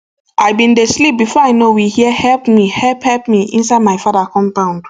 i bin dey sleep bifor i know we hear help me help help me inside my father compound